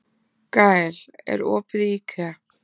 Gael, er opið í IKEA?